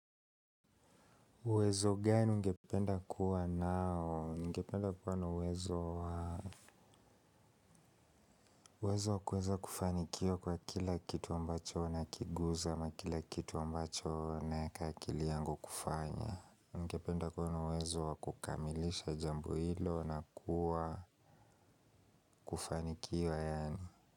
Uwezo gani ungependa kuwa nao? Ningependa kuwa na uwezo wa uwezo wa kuweza kufanikiwa kwa kila kitu ambacho nakiguza na kila kitu ambacho naweka akili yangu kufanya ningependa kuwa na uwezo wa kukamilisha jambo hilo na kwa kufanikiwa yaani.